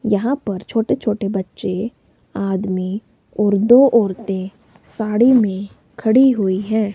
यहां पर छोटे छोटे बच्चे आदमी और दो औरतें साड़ी में खड़ी हुई हैं।